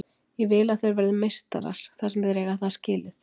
Ég vill að þeir verði meistarar þar sem þeir eiga það skilið.